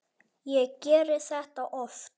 Ég geri þetta oft.